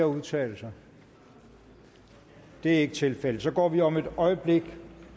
at udtale sig det er ikke tilfældet og så går vi om et øjeblik